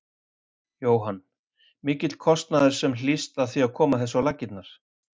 Jóhann: Mikill kostnaður sem að hlýst af því að koma þessu á laggirnar?